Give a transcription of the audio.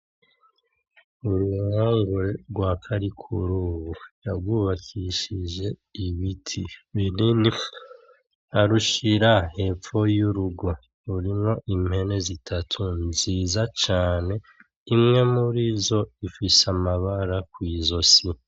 Uru ruhongore rwa Karikurubu yarwubakishije ibiti binini, arushira hepfo y'urugo. Rurimwo impene zitatu nziza cane, imwe murizo ifise amabara kw'izosi.